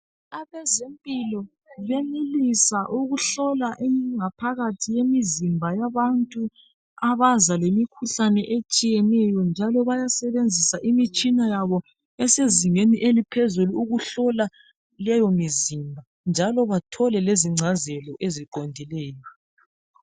Abezempilo bayenelisa ukuhlola ingaphakathi yemizimba yabantu abaza lemikhuhlane etshiyeneyo njalo bayasebenzisa imitshina yabo esezingeni eliphezulu ukuhlola leyomizimba njalo bathole lezingcazelo eziqondileyo